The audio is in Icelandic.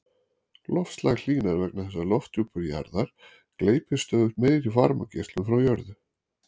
Loftslag hlýnar vegna þess að lofthjúpur jarðar gleypir stöðugt meiri varmageislun frá jörðu.